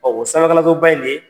o sanfɛkalansoba in de